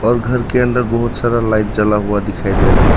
और घर के अंदर बहुत सारा लाइट जला हुआ दिखाई दे रहा है।